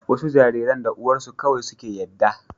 wasu jariran da uwarsu kawai suke yadda